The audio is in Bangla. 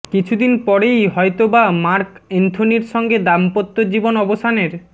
কিছুদিন পরেই হয়তবা মার্ক এন্থোনির সঙ্গে দাম্পত্য জীবন অবসানের